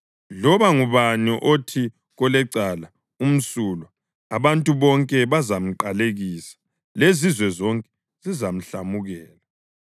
Loba ngubani othi kolecala, “Umsulwa,” abantu bonke bazamqalekisa lezizwe zonke zizamhlamukela.